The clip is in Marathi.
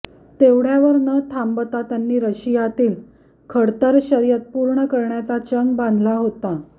तेवढ्यावर न थांबता त्यांनी रशियातील खडतर शर्यत पूर्ण करण्याचा चंग बांधला होता